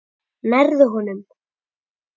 Nærðu honum?